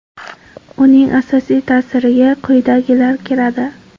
Uning asosiy ta’siriga quyidagilar kiradi.